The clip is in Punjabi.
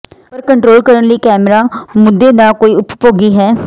ਪਰ ਕੰਟਰੋਲ ਕਰਨ ਲਈ ਕੈਮਰਾ ਮੁੱਦੇ ਦਾ ਕੋਈ ਉਪਭੋਗੀ ਹੈ